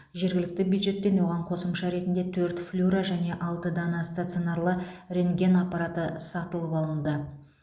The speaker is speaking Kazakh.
жергілікті бюджеттен оған қосымша ретінде төрт флюро және алты дана стационарлы рентген аппараты сатып алынды